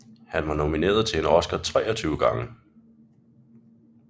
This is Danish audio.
Han var nomineret til en Oscar 23 gange